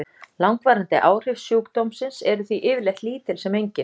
Langvarandi áhrif sjúkdómsins eru því yfirleitt lítil sem engin.